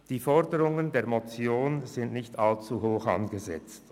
Die Forderungen der Motion sind nicht allzu hoch angesetzt.